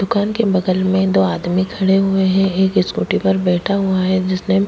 दुकान के बगल में दो आदमी खड़े हुए है एक इस्कूटि पर बैठा हुआ है जिसने --